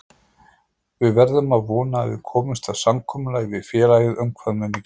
Við verðum að vona að við komumst að samkomulagi við félagið um hvað muni gerast.